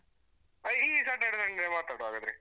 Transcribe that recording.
ಹ ಈ Saturday Sunday ಮಾತಾಡ್ವಾ ಹಾಗಾದ್ರೆ.